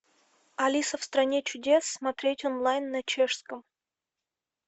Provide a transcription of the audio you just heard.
алиса в стране чудес смотреть онлайн на чешском